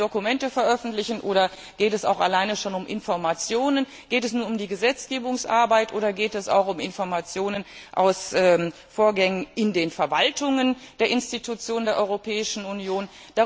Müssen wir alle Dokumente veröffentlichen oder geht es allein schon um Informationen? Geht es nur um die Gesetzgebungsarbeit oder geht es auch um Informationen aus Vorgängen in den Verwaltungen der Institutionen der Europäischen